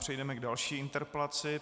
Přejdeme k další interpelaci.